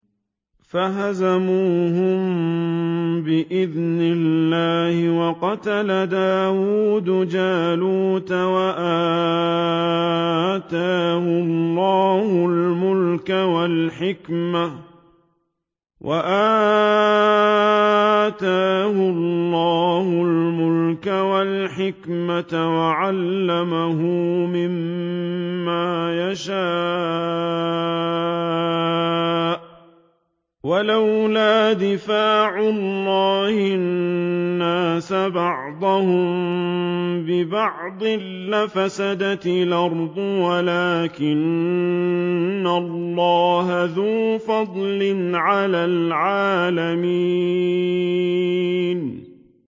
فَهَزَمُوهُم بِإِذْنِ اللَّهِ وَقَتَلَ دَاوُودُ جَالُوتَ وَآتَاهُ اللَّهُ الْمُلْكَ وَالْحِكْمَةَ وَعَلَّمَهُ مِمَّا يَشَاءُ ۗ وَلَوْلَا دَفْعُ اللَّهِ النَّاسَ بَعْضَهُم بِبَعْضٍ لَّفَسَدَتِ الْأَرْضُ وَلَٰكِنَّ اللَّهَ ذُو فَضْلٍ عَلَى الْعَالَمِينَ